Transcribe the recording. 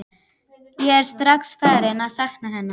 Ég er strax farinn að sakna hennar.